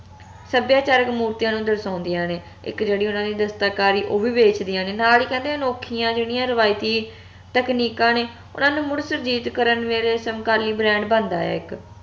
ਸੱਭਿਆਚਾਰਕ ਮੂਰਤੀਆਂ ਨੂੰ ਦਰਸ਼ਾਉਂਦੀਆਂ ਨੇ ਇਕ ਜੇਹੜੀ ਓਹਨਾ ਦੀ ਦਸਤਕਾਰੀ ਓਹ ਵੀ ਵੇਚਦਿਆਂ ਨੇ ਨਾਲ ਹੀ ਕਹਿੰਦੇ ਅਨੋਖੀਆਂ ਜਿਹੜੀਆਂ ਰਵਾਇਤੀ ਤਕਨੀਕਾਂ ਨੇ ਓਹਨਾ ਨੂੰ ਮੁੜ ਕਰਨ ਵੇਲੇ ਸੰਕਾਲੀ brand ਬਣਦਾ ਆ ਇਕ